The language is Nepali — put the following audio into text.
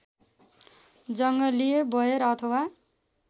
जङ्गली बयर अथवा